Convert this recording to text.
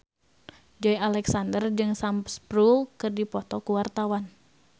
Joey Alexander jeung Sam Spruell keur dipoto ku wartawan